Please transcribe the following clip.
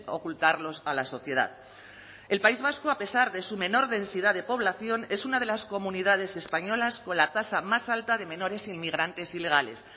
ocultarlos a la sociedad el país vasco a pesar de su menor densidad de población es una de las comunidades españolas con la tasa más alta de menores inmigrantes ilegales